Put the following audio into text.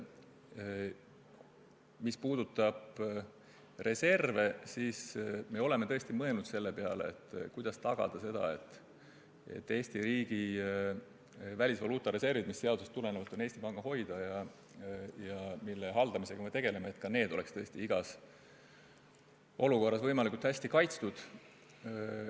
Mis puudutab reserve, siis me tõesti oleme mõelnud selle peale, kuidas tagada, et Eesti riigi välisvaluutareservid, mis seadusest tulenevalt on Eesti Panga hoida ja mida me ka haldame, oleks igas olukorras võimalikult hästi kaitstud.